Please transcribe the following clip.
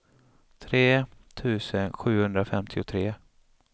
tre tusen sjuhundrafemtiotre